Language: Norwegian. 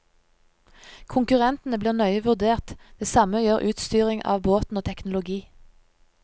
Konkurrentene blir nøye vurdert, det samme gjør utstyring av båten og teknologi.